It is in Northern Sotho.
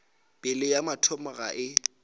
pelo ya motho ga e